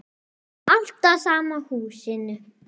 Alltaf sama húsinu.